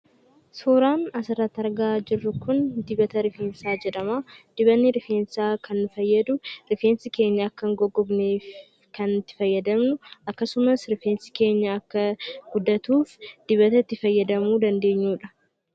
Suuraan as irratti argamu kun dibata rifeensaa jedhama. Dibatni rifeensaa kan fayyaduuf rifeensi keenya akka hin goggonnee fi rifeensi keenya akka guddatuuf kan itti fayyadamnuu dha.